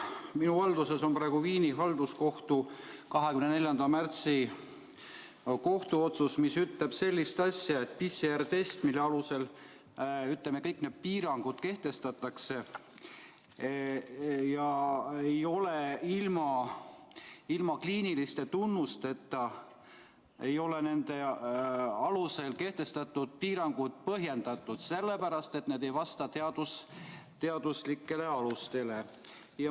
Minu valduses on praegu Viini halduskohtu 24. märtsi kohtuotsus, mis ütleb, et PCR‑testi puhul, mille alusel kõik need piirangud kehtestatakse, ei ole ilma kliiniliste tunnusteta nende alusel kehtestatud piirangud põhjendatud, sellepärast et need ei vasta teaduslikele alustele.